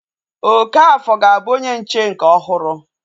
Okafor ga-abụ onye nche nke ọhụrụ